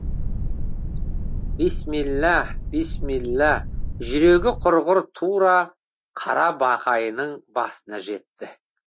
бисмилла бисмилла жүрегі құрғыр тура қара бақайының басына жетті